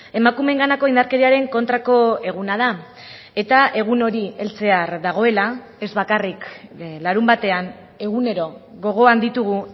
emakumeenganako indarkeriaren kontrako eguna da eta egun hori heltzear dagoela ez bakarrik larunbatean egunero gogoan ditugu